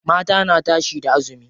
Mata na tashe da azumi.